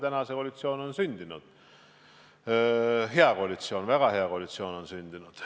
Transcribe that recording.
Täna on see koalitsioon sündinud – hea koalitsioon, väga hea koalitsioon on sündinud.